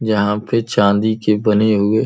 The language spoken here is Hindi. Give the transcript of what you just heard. जहां पे चांदी के बने हुए --